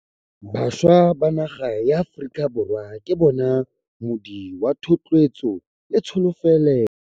Bašwa ba naga ya Aforika Borwa ke bona moodi wa thotloetso le tsholofelo.